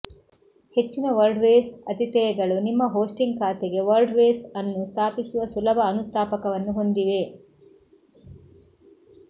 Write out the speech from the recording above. ಹೆಚ್ಚಿನ ವರ್ಡ್ಪ್ರೆಸ್ ಅತಿಥೇಯಗಳು ನಿಮ್ಮ ಹೋಸ್ಟಿಂಗ್ ಖಾತೆಗೆ ವರ್ಡ್ಪ್ರೆಸ್ ಅನ್ನು ಸ್ಥಾಪಿಸುವ ಸುಲಭ ಅನುಸ್ಥಾಪಕವನ್ನು ಹೊಂದಿವೆ